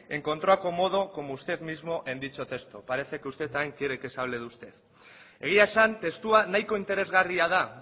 encontró acomodo como usted mismo en dicho texto parece que usted también quiere que se hable de usted egia esan testua nahiko interesgarria da